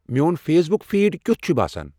میون Facebook feed کیُتھ چھُ باسان